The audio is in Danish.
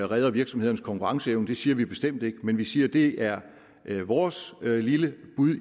redder virksomhedernes konkurrenceevne det siger vi bestemt ikke men vi siger at det er er vores lille bud